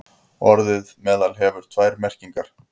Orðið meðal hefur tvær merkingar.